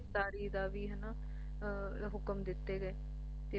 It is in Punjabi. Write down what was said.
ਗਿਰਫਤਾਰੀ ਦਾ ਵੀ ਹੁਕਮ ਵੀ ਦਿੱਤੇ ਗਏ ਤੇ